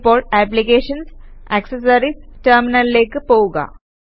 ഇപ്പോൾ applications GT accessories GT ടെര്മിനല്ലേക്ക് പോകുക